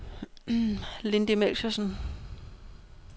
Lindy Melchiorsen